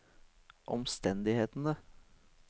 omstendighetene